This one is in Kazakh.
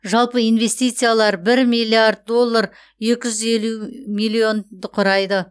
жалпы инвестициялар бір миллиард доллар екі жүз елу миллионды құрайды